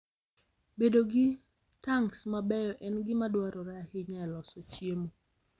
Bedo gi tanks mabeyo en gima dwarore ahinya e loso chiemo.